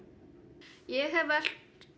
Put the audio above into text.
ég hef velt